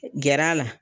Gɛr'a la